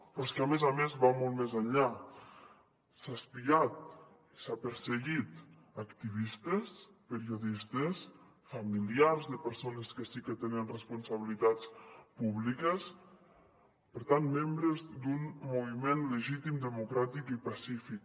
però és que a més a més va molt més enllà s’ha espiat i s’ha perseguit activistes periodistes familiars de persones que sí que tenen responsabilitats públiques per tant membres d’un moviment legítim democràtic i pacífic